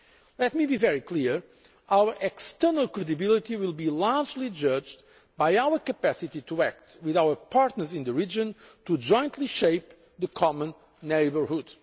Let me be very clear our external credibility will largely be judged by our capacity to act with our partners in the region to jointly shape the common neighbourhood.